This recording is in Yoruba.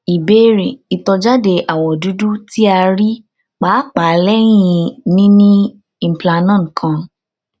ìbéèrè itọjade awọ dudu ti a rii paapaa lẹhin nini implanon kan